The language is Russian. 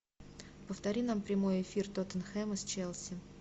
повтори нам прямой эфир тоттенхэма с челси